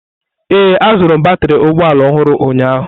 Ee, azụrụ m batrị ụgbọ ala ọhụrụ ụnyaahụ.